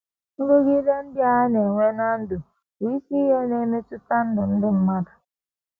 Nrụgide ndị a na - enwe ná ndụ bụ isi ihe na - emetụta ndụ ndị mmadụ.